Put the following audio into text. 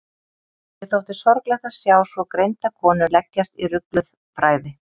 Mér þótti sorglegt að sjá svo greinda konu leggjast í rugluð fræði.